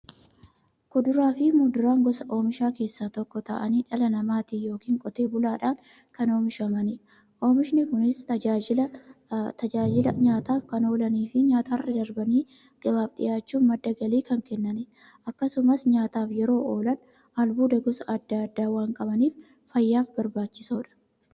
Kuduraafi muduraan gosa oomishaa keessaa tokko ta'anii, dhala namaatin yookiin Qotee bulaadhan kan oomishamaniidha. Oomishni Kunis, tajaajila nyaataf kan oolaniifi nyaatarra darbanii gabaaf dhiyaachuun madda galii kan kennaniidha. Akkasumas nyaataaf yeroo oolan, albuuda gosa adda addaa waan qabaniif, fayyaaf barbaachisoodha.